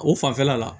O fanfɛla la